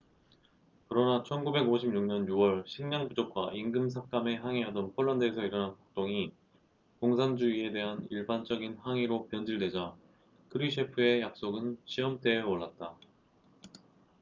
그러나 1956년 6월 식량 부족과 임금 삭감에 항의하던 폴란드에서 일어난 폭동이 공산주의에 대한 일반적인 항의로 변질되자 크뤼셰프의 약속은 시험대에 올랐다